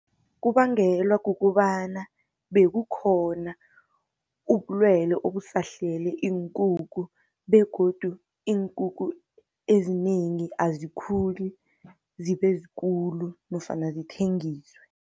Kubangelwa kukobana, bekukhona ubulwele obusahlele iinkukhu, begodu iinkukhu eziningi azikhuli zibe zikulu, nofana zithengiswe.